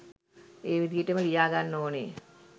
ඒ විදිහටම ලියා ගන්න ඕනෙ.